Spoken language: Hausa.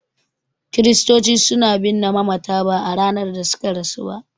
Kiristoci suna binne mamata ba a ranar da suka rasu ba.